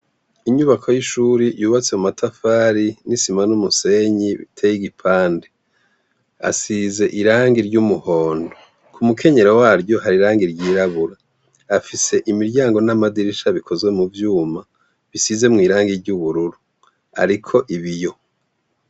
Inyubako y'ishuri yubatse mu matafari n'isima n'umusenyi tey'igipande, asize irangi ry'umuhondo ku mukenyero waryo hari rangi iryirabura afise imiryango n'amadirisha bikozwe mu vyuma, bisize mw'irangi ry'ubururu, ariko ibiyo.